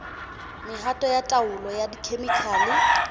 mehato ya taolo ka dikhemikhale